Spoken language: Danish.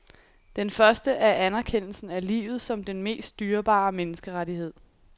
Den første er anerkendelsen af livet som den mest dyrebare menneskerettighed.